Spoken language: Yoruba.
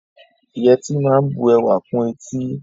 Yẹtí máa ń bu ẹwà kún etí